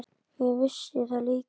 Ég vissi það líka.